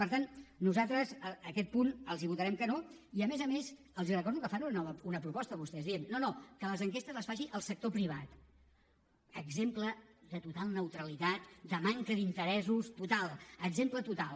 per tant nosaltres aquest punt els votarem que no i a més a més els recordo que fan una nova proposta vostès dient no no que les enquestes les faci el sector privat exemple de total neutralitat de manca d’interessos total exemple total